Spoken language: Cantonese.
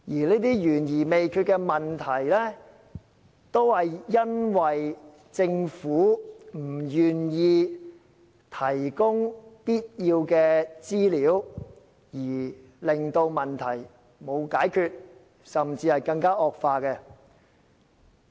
這些懸而未決的問題，是因為政府不願意提供必要的資料，以致問題無法解決，甚至更加惡化。